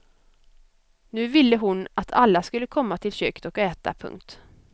Nu ville hon att alla skulle komma till köket och äta. punkt